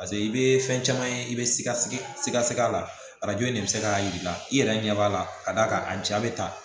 Paseke i bɛ fɛn caman ye i bɛ sikasiga sig'a la arajo in de bɛ se k'a jira i la i yɛrɛ ɲɛ b'a la ka d'a kan a cɛ bɛ taa